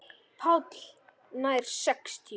PÁLL: Nær sextíu.